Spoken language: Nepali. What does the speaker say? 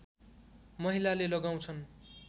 महिलाले लगाउँछन्